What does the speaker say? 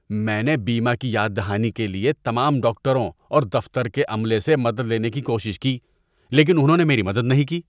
میں نے بیمہ کی یاد دہانی کے لیے تمام ڈاکٹروں اور دفتر کے عملے سے مدد لینے کی کوشش کی۔ لیکن انہوں نے میری مدد نہیں کی۔